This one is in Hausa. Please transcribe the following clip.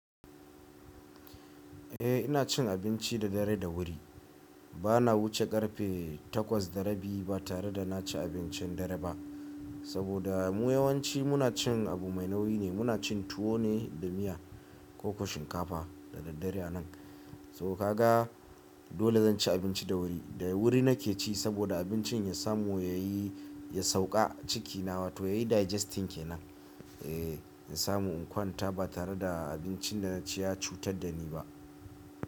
Eh ina cin abinci da dare da wuri. Bana wuce ƙarfe takwas da rabi ba tare da na ci abincin dare ba. Saboda mu yawanci muna cin abu mai nauyi ne, muna cin tuwo ne da miya ko shinkafa da daddare a nan. Saboda haka dole zan ci abinci da wuri. Da wuri nake ci saboda abincin ya samu ya sauka a ciki na wato yayi digesting kenan. Ehh in samu in kwanta ba tare da abincin da na ci ya cutar da ni ba.